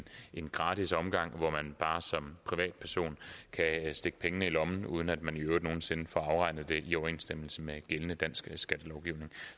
en gratis omgang så man bare som privatperson kan stikke pengene i lommen uden at man i øvrigt nogen sinde får afregnet det i overensstemmelse med gældende dansk skattelovgivning